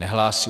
Nehlásí.